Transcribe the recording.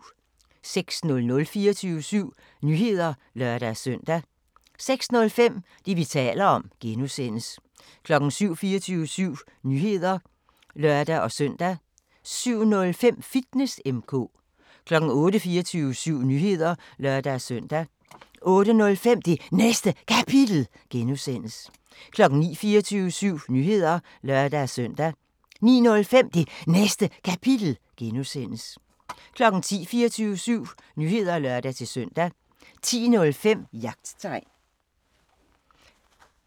06:00: 24syv Nyheder (lør-søn) 06:05: Det, vi taler om (G) 07:00: 24syv Nyheder (lør-søn) 07:05: Fitness M/K 08:00: 24syv Nyheder (lør-søn) 08:05: Det Næste Kapitel (G) 09:00: 24syv Nyheder (lør-søn) 09:05: Det Næste Kapitel (G) 10:00: 24syv Nyheder (lør-søn) 10:05: Jagttegn